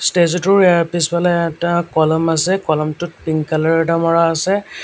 ষ্টেচুটোৰ এ পিছফালে এটা কলম আছে কলমটোত পিঙ্ক কালাৰ এটা মাৰা আছে।